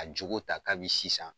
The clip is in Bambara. a jogo ta kabi sisan.